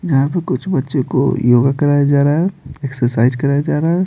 जहाँ पर कुछ बच्चों को योगा कराया जा रहा है एक्सरसाइज कराया जा रहा है।